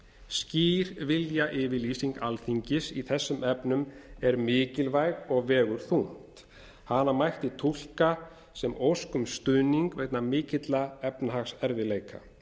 skýr viljayfirlýsing alþingis í þessum efnum er mikilvæg og vegur þungt hana mætti túlka sem ósk um stuðning vegna mikilla efnahagserfiðleika